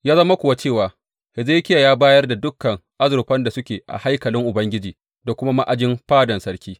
Ya zama kuwa cewa, Hezekiya ya bayar da dukan azurfan da suke a haikalin Ubangiji da kuma a ma’ajin fadan sarki.